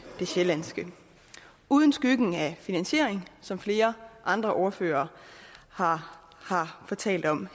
det sjællandske uden skyggen af finansiering som flere andre ordførere har fortalt om